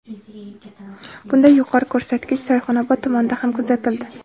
Bunday yuqori ko‘rsatkich Sayxunobod tumanida ham kuzatildi.